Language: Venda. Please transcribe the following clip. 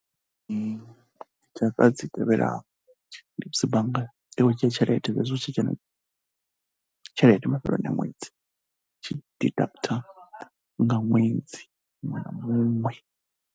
Ee, tshaka dzi tevhelaho, ndi musi bangani i khou dzhia tshelede hezwi hu tshi dzhena tshelede mafheleloni a ṅwedzi, i tshi deductor nga ṅwedzi muṅwe na muṅwe.